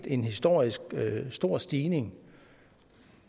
en historisk stor stigning